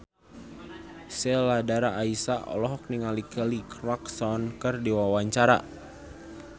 Sheila Dara Aisha olohok ningali Kelly Clarkson keur diwawancara